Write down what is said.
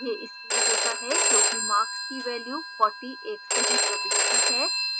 यह इसलिए होता है क्योंकि marks की value 40 एक सही प्रविष्टि है